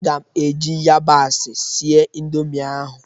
M ga-eji yabasị sịe Indomị ahụ